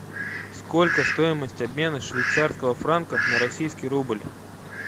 сколько стоимость обмена швейцарского франка на российский рубль